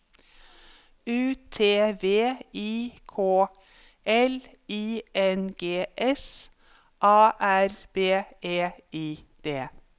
U T V I K L I N G S A R B E I D